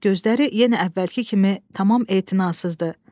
Ancaq gözləri yenə əvvəlki kimi tamam etinasızdı.